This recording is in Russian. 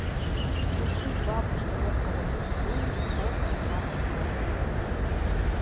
включи бабушка легкого поведения окко смарт бокс